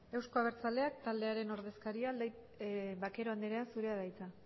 euzko abertzaleak taldearen ordezkaria vaquero anderea zurea da hitza